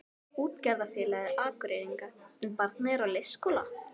Útgerðarfélagi Akureyringa, en barnið er á leikskóla.